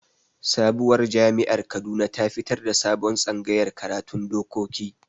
Sabowar jami'ar Kaduna ta fitar da sabon tsangayar karatun dokoki